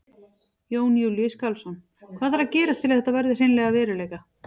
Jón Júlíus Karlsson: Hvað þarf að gerast til þess að þetta verði hreinlega að veruleika?